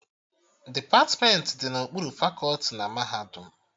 Depatmentị dị n'okpuru fakọti na mahadum